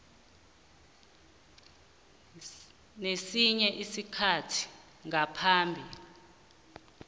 nesinye isikhathi ngaphambi